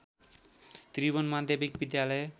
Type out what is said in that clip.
त्रिभुवन माध्यमिक विद्यालय